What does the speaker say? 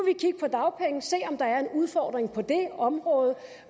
se om der er en udfordring på det område